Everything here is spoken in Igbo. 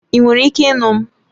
Ị nwere ike ịnụ m?